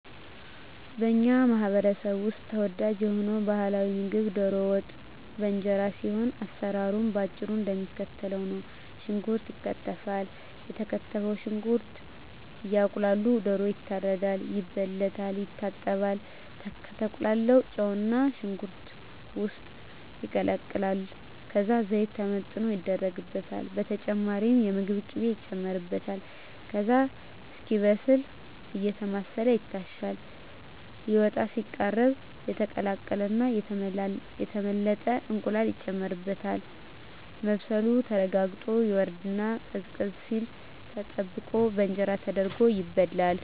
በኛ ማህበረሰብ ውስጥ ተወዳጅ የሆነው ባህላዊ ምግብ ደሮ ወጥ በእንጀራ ሲሆን አሰራሩም በአጭሩ እደሚከተለው ነው። ሽንኩርት ይከተፋል የተከተፈው ሽንኩርት እየቁላላ ደሮ ይታረዳል፣ ይበለታል፣ ይታጠባል፣ ከተቁላላው ጨውና ሽንኩርት ውስጥ ይቀላቀላል ከዛ ዘይት ተመጥኖ ይደረግበታል በተጨማሪም የምግብ ቅቤ ይጨመርበታል ከዛ እስኪበስል አየተማሰለ ይታሻል ሊወጣ ሲቃረብ የተቀቀለና የተመለጠ እንቁላል ይጨመርበትና መብሰሉ ተረጋግጦ ይወርድና ቀዝቀዝ ሲል ተጠብቆ በእንጀራ ተደርጎ ይበላል።